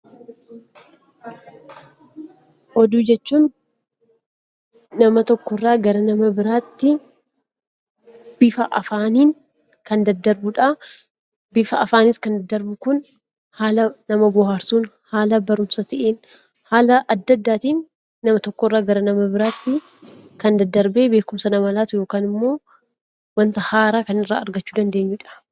Oduu jechuun nama tokko irraa nama biraatti bifa afaaniin kan daddarbudhaa. Bifa afaaniin kan daddarbu Kun haala nama bohaarsuun, haala barumsa ta'een karaa addaa addaatiin nama tokko irraa gara nama biraatti kan daddarbee beekumsa namaaf laatu yookaan immoo waanta haaraa kan irraa argachuu dandeenyudha.